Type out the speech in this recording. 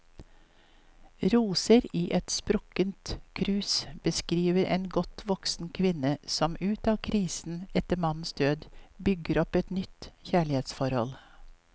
Roser i et sprukket krus beskriver en godt voksen kvinne som ut av krisen etter mannens død, bygger opp et nytt kjærlighetsforhold.